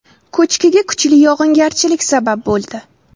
Ko‘chkiga kuchli yog‘ingarchilik sabab bo‘ldi.